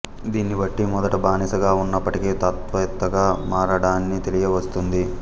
దీన్ని బట్టి మొదట బానిసగా ఉన్నప్పటికి తత్వవేత్తగా మారాడని తెలియవస్తుంది